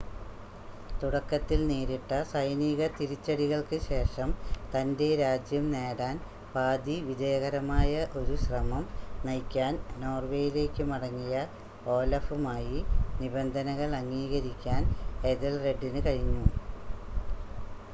തുടക്കത്തിൽ നേരിട്ട സൈനിക തിരിച്ചടികൾക്ക് ശേഷം തൻ്റെ രാജ്യം നേടാൻ പാതി വിജയകരമായ ഒരു ശ്രമം നയിക്കാൻ നോർവേയിലേക്ക് മടങ്ങിയ ഓലഫുമായി നിബന്ധനകൾ അംഗീകരിക്കാൻ എഥെൽറെഡിന് കഴിഞ്ഞു